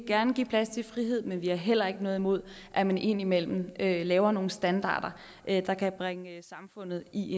gerne give plads til frihed men vi har heller ikke noget imod at man indimellem laver nogle standarder der kan bringe samfundet i